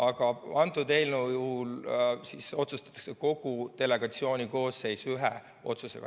Aga kõnealuse eelnõu puhul otsustatakse kogu delegatsiooni koosseis ühe otsusega.